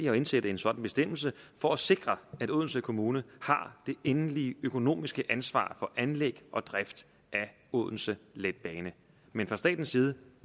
at indsætte en sådan bestemmelse for at sikre at odense kommune har det endelige økonomiske ansvar for anlæg og drift af odense letbane men fra statens side